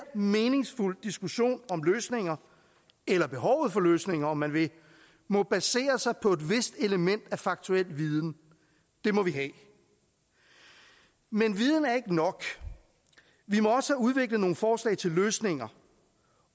meningsfuld diskussion om løsninger eller behovet for løsninger om man vil må basere sig på et vist element af faktuel viden det må vi have men viden er ikke nok vi må også have udviklet nogle forslag til løsninger